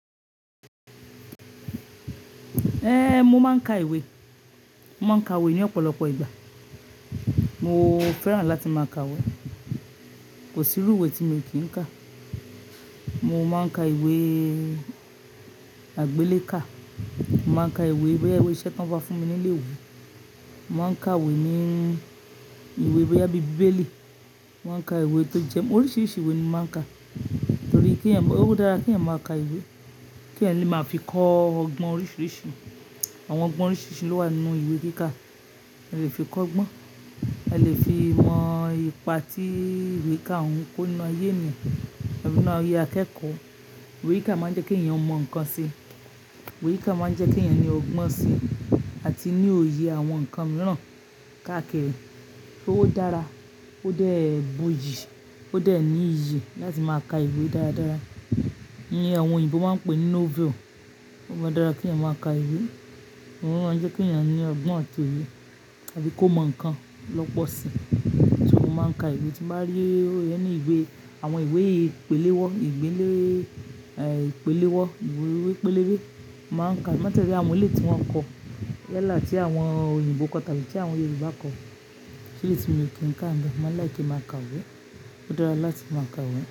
Ẹ̀ mo máa ń ka ìwé. Mo máa ń ka ìwé ní ọ̀pọ̀lọpọ̀ ìgbà. Mo fẹ́ràn láti máa ka ìwé. Kò sí irú ìwé tí mo kì í ka. Mo máa ń ka ìwé àgbélé kà. Mo máa ń ka ìwé bí i ìwé iṣẹ́ tí wọ́n bá fún mi ní ilé ìwé. Mo máa ń ka ìwé ní ìwé bí i bíbélì. Mo máa ń ka ìwé tó jẹ́ oríṣiríṣi ìwé ni mo máa ń ka. Nítorí kí ẹ̀yin, ó dára kí ẹ̀yin máa ka ìwé. Kí ẹ̀yin lè máa fi kọ́ ọgbọ́n oríṣiríṣi. Àwọn ọgbọ́n oríṣiríṣi ló wà nínú ìwé kíkà. Ẹ lè fi kọ́ ọgbọ́n. Ẹ lè fi mọ ipa tí ìwé ká òun kó ninu ayé mi, tabi ninu ayé akẹ́kọ̀ọ́. Ìwé kíkà máa ń jẹ́ kí ẹ̀yin mọ nǹkan si. Ìwé kíkà máa ń jẹ́ kí ẹ̀yin ní ọgbọ́n si àti ní òye àwọn nǹkan mìíràn káàkiri. Ó dára, ó dẹ̀ bu iyì, ó dẹ̀ ní iyì láti máa ka ìwé dáradára. Ní àwọn òyìnbó máa ń pè ní novel. Ó máa dára kí ẹ̀yin máa ka ìwé. Òun máa jẹ́ kí ẹ̀yin ní ọgbọ́n àti ìwé àti kó mọ nǹkan lọ́pọ̀ si. Ṣé mo máa ń ka ìwé? Tí mo bá rí any ìwé, àwọn ìwé ìpele wọ, pẹlẹbẹ, eh ìpele ìwé, pẹlẹbẹ, iwe pelebe, màá ka. Láti ọ̀rẹ́ àwọn olè tí wọ́n kọ. Yalaa ti àwọn òyìnbó kọ tàbí ti àwọn Yorùbá kọ. Kí eyi ti mo kì í ka ni be? Mo máa like kí n máa ka ìwé. Ó dára láti máa ka ìwé.